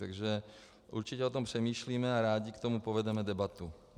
Takže určitě o tom přemýšlíme a rádi k tomu povedeme debatu.